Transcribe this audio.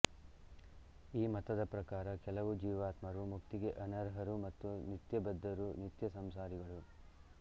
ಈ ಮತದ ಪ್ರಕಾರ ಕೆಲವು ಜೀವಾತ್ಮರು ಮುಕ್ತಿಗೆ ಅನರ್ಹರು ಮತ್ತು ನಿತ್ಯಬದ್ಧರು ನಿತ್ಯ ಸಂಸಾರಿಗಳು